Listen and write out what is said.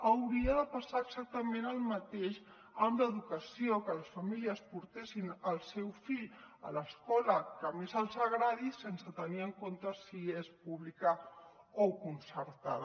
hauria de passar exactament el mateix amb l’educació que les famílies portessin el seu fill a l’escola que més els agradi sense tenir en compte si és pública o concertada